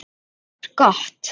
Það var gott